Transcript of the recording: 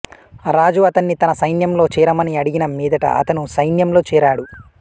రాజు అతన్ని తన సైన్యంలో చేరమని అడిగిన మీదట అతను సైన్యంలో చేరాడు